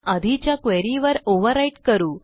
आधीच्या क्वेरी वर ओव्हरव्हराईट करू